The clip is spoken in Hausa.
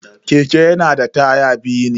Keke yana da taya biyu ne.